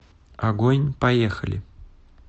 огонь поехали